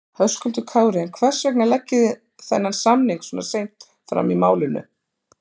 Höskuldur Kári: En hvers vegna leggið þið þennan samning svona seint fram í málinu?